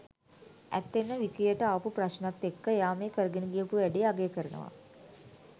ඇත්තෙන්ම විකියට ආපු ප්‍රශ්නත් එක්ක එයා මේ කරගෙන ගියපු වැඩේ අගය කරනවා.